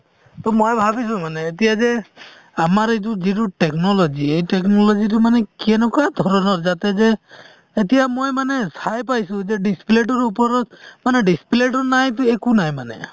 to মই ভাবিছো মানে এতিয়া যে আমাৰ এইটো যিটো technology এই technology তো মানে কেনেকুৱা ধৰণৰ যাতে যে এতিয়া মই মানে চাই পাইছো যে display তোৰ ওপৰত মানে display তো নাইতো একো নাই মানে